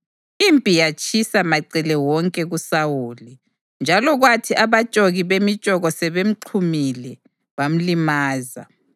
Impi yatshisa macele wonke kuSawuli, njalo kwathi abatshoki bemitshoko sebemxhumile, bamlimaza.